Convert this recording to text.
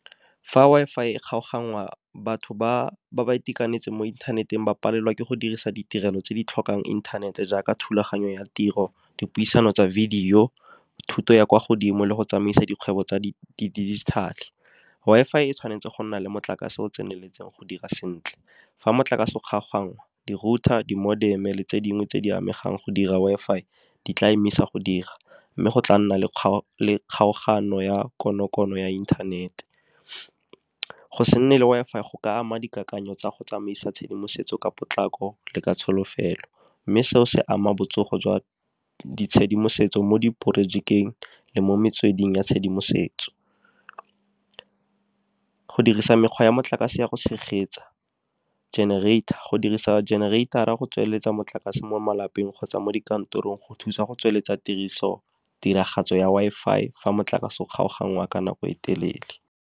Fa Wi-Fi e kgaoganngwa batho ba ba itekanetseng mo inthaneteng ba palelwa ke go dirisa ditirelo tse di tlhokang inthanete jaaka thulaganyo ya tiro, dipuisano tsa video, thuto ya kwa godimo le go tsamaisa dikgwebo tsa digital. Wi-Fi e tshwanetse go nna le motlakase o tseneletseng go dira sentle. Fa motlakase o kgaoganngwa di-router, di-modem, tse dingwe tse di amegang go dira Wi-Fi di tla emisa go dira. Mme go tla nna le kgaogano ya konokono ya inthanete. Go se nne le Wi-Fi go ka ama dikakanyo tsa go tsamaisa tshedimosetso ka potlako, le ka tsholofelo. Mme seo se ama botsogo jwa ditshedimosetso mo di projekeng le mo metsweding ya tshedimosetso, go dirisa mekgwa ya motlakase ya go tshegetsa generator go dirisa generator-a go tsweletsa motlakase mo malapeng kgotsa mo dikantorong go thusa go tsweletsa tiriso tiragatso ya Wi-Fi fa motlakase o kgaoganngwe wa ka nako e telele.